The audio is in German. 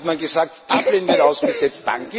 Dann hat man gesagt Dublin wird ausgesetzt.